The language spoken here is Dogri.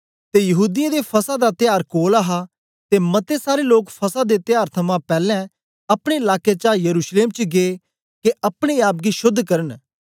ते यहूदीयें दे फसह दा त्यार कोल हा ते मते सारे लोक फसह दे त्यार थमां पैलैं अपने लाके चा यरूशलेम च गै के अपने आप गी शोद्ध करन